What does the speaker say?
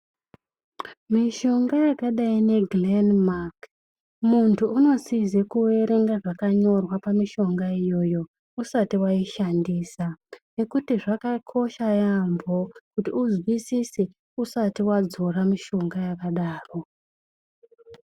Mishonga yakadai neGirenimaki, munthu unosize kuerenga zvakanyorwa pamishonga iyoyo usati waishandisa, nekuti zvakakosha yaemho kuti uzwisise usati wadzora mishonga yakadaro.